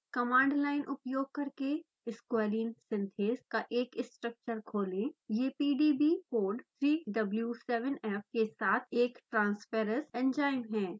command line उपयोग करकेsqualene synthase का एक स्ट्रक्चर खोलेंयह pdbकोड 3w7f के साथ एक transferace एंजाइम है